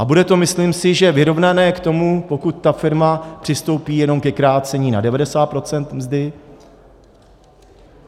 A bude to, myslím si, že vyrovnané k tomu, pokud ta firma přistoupí jenom ke krácení na 90 % mzdy.